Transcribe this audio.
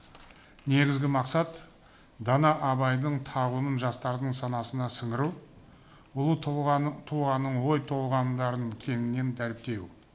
негізгі мақсат дана абайдың тағылымын жастардың санасына сіңіру ұлы тұлғаны тұлғаның ой толғамдарын кеңінен дәріптеу